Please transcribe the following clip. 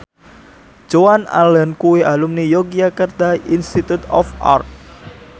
Joan Allen kuwi alumni Yogyakarta Institute of Art